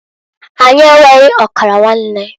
Anyi enweghi ọkara nwanne.